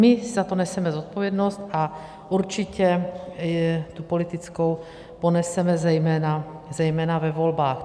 My za to neseme zodpovědnost a určitě tu politickou poneseme zejména ve volbách.